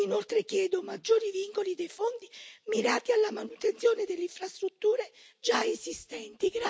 Inoltre chiedo maggiori vincoli dei fondi mirati alla manutenzione delle infrastrutture già esistenti.